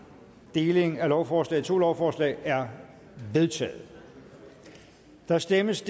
deling af lovforslaget i to lovforslag er vedtaget der stemmes